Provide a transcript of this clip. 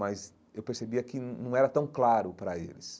Mas eu percebia que não era tão claro para eles.